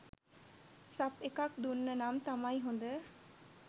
සප් එකක් දුන්න නම් තමයි හොඳ..